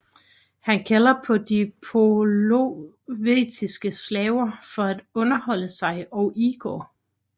Han kalder på de polovetiske slaver for at underholde sig og Igor